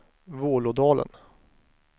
Vålådalen